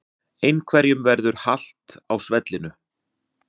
Einhverjum verður halt á svellinu